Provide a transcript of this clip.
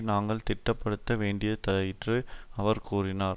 நாங்கள் திடப்படுத்த வேண்டியதாயிற்று அவர் கூறினார்